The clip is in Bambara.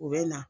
U bɛ na